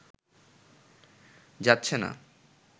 যাচ্ছে না